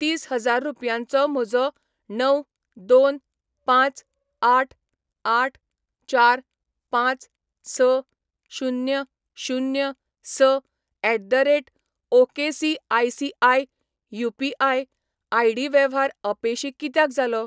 तीस हजार रुपयांचो म्हजो णव दोन पांच आठ आठ चार पांच स शुन्य शुन्य स at the rate ok ICICI UPI. ID वेव्हार अपेशी कित्याक जालो?